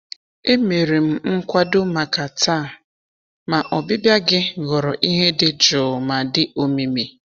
Emere m nkwado maka taa, ma ọbịbịa gị ghọrọ ihe dị jụụ ma dị omimi.